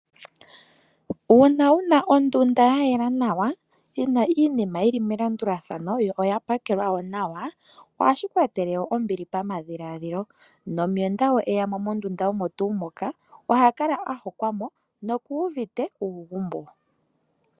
Uuna wuna ondunda yayela nawa yina iinima yili melandulathano yo oya pakelwa wo nawa, ohashi ku etele woo ombili pamadhiladhilo, nomuyenda uuna eyamo mondunda omo tuu moka ohakala ahokwa mo noku uvite uugumbo.